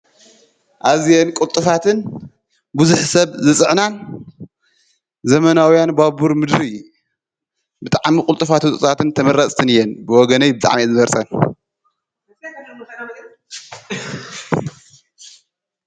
ኣዝየን ቊልጥፋትን ብዙኅ ሰብ ዝጽዕናን ዘመናውያን ባቡር ምድሪ ብጥዓሚ ቝልጥፋት ጽፉጻትን ተመራጽትን እየን ብወገነይ ብጣዐሚ አየ ዝመርጸን::